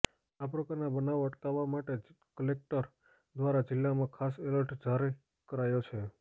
આ પ્રકારના બનાવ અટકાવવા માટે કલેકટર દ્વારા જિલ્લામાં ખાસ એલર્ટ જારી કરાયો છે